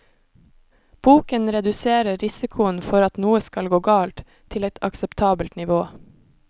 Boken reduserer risikoen for at noe skal gå galt, til et akseptabelt nivå.